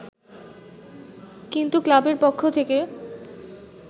কিন্তু ক্লাবের পক্ষ থেকে